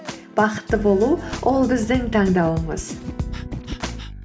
бақытты болу ол біздің таңдауымыз